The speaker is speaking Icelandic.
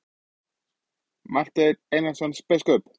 Marteinn Einarsson biskup!